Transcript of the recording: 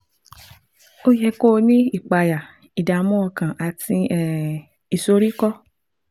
Ó yẹ kí ó ní ìpayà, ìdààmú ọkàn àti um ìsoríkọ́